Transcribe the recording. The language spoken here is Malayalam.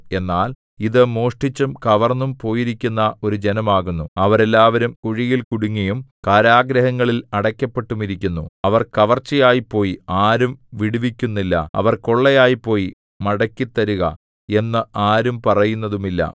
എന്നാൽ ഇതു മോഷ്ടിച്ചും കവർന്നും പോയിരിക്കുന്ന ഒരു ജനമാകുന്നു അവരെല്ലാവരും കുഴികളിൽ കുടുങ്ങിയും കാരാഗൃഹങ്ങളിൽ അടയ്ക്കപ്പെട്ടുമിരിക്കുന്നു അവർ കവർച്ചയായിപ്പോയി ആരും വിടുവിക്കുന്നില്ല അവർ കൊള്ളയായിപ്പോയി മടക്കിത്തരുക എന്ന് ആരും പറയുന്നതുമില്ല